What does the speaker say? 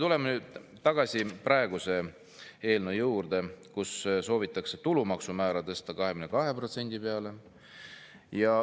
Tuleme nüüd tagasi praeguse eelnõu juurde, millega soovitakse tulumaksu määr tõsta 22% peale.